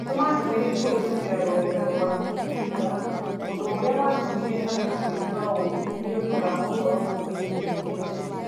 Tũma ndũmĩrĩri kũhĩtũkĩra rũrenda rũa tũita ũndũ ũria watumire andũ kũigua ũũru nĩũndũ wa ũhoro wigiĩ Kenchic